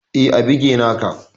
Eh, a bige nake